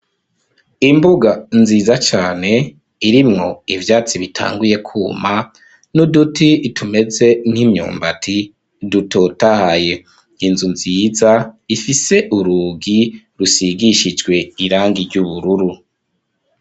Imbuga nziza cyane irimwo ibyatsi bitanguye kuma n'uduti tumeze nk'imyombati dutotahaye inzu nziza ifise uruugi rusigishijwe irangi ry'ubururu.